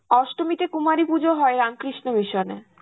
অষ্টমীতে কুমারী পুজো হয় রামকৃষ্ণ মিশনে.